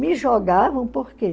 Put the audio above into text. Me jogavam, por quê?